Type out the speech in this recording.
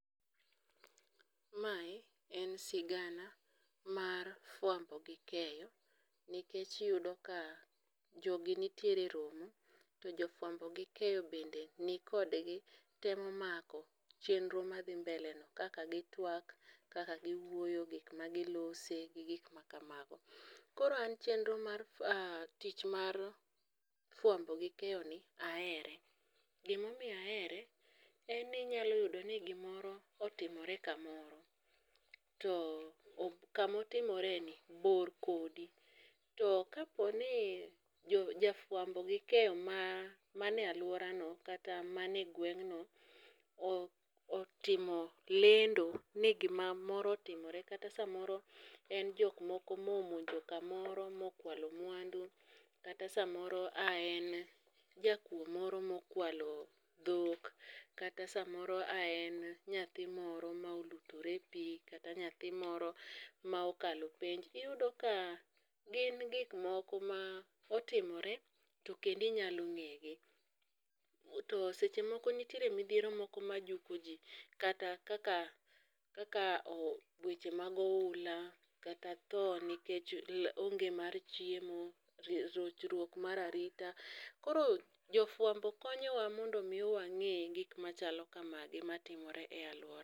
Mae en sigana mar fwambo gi keyo, nikech iyudo ka jogi nitiere e romo to jofwambo gi keyo be ni kodgi. Temo mako chenro madhi mbele no, kaka gitwak, kaka giwuoyo, gik ma gilose gi gik ma kamago. Koro an chenro mar tich mar fuambo gi keyo ni ahere, gimomiyo ahere, en ni inyalo yudo ni gimoro otimore kamoro. To kamotimore ni bor kodi, to kaponi jo jafwambo gi keyo ma mane alwora no kata mane gweng'no otimo lendo ni gima moro otimore. Kata samaoro en jok moko momonjo kamoro mokwalo mwandu, kata samoro aen jakuo moro mokwalo dhok. Kata samoro a en nyathi moro ma olutore e pi, kata nyathi moro ma okalo penj. Iyudo ka gin gik moko ma otimore to kendinyalo ng'e gi. To seche moko nitiere midhiero moko ma juko ji, kata kaka weche mag oula kata tho nikech onge mar chiemo, rochruok mar arita. Koro jofwambo konyowa mondo wang'e gik machalo kamagi e alwora.